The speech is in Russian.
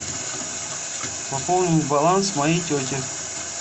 пополнить баланс моей тете